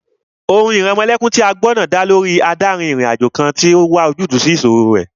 Orin ìrẹmọlẹ́kún náà tí a gbọ́ dá lórí adárin-ìrìnàjò kan tó n wá ojútùú sí ìṣòro rẹ̀